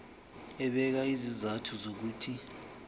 ebeka izizathu zokuthi